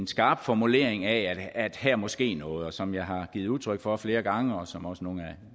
skarp formulering af at her måske er noget som jeg har givet udtryk for flere gange og som også nogle af